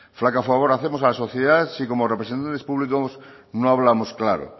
flaco favor hacemos a la sociedad si como representantes públicos no hablamos claro